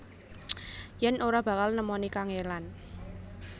Yen ora bakal nemoni kangelan